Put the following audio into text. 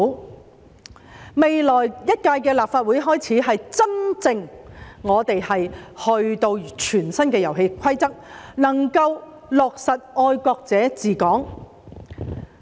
由未來一屆的立法會開始，立法會真正有全新的遊戲規則，能夠落實"愛國者治港"。